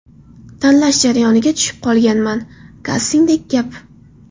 Tanlash jarayoniga tushib qolganman, kastingdek gap.